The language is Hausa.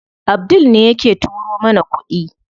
Abdul ne yake turo mana kuɗi.